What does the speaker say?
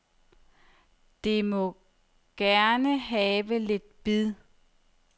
Det må gerne have lidt bid.